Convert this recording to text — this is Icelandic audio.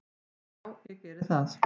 """Já, ég geri það."""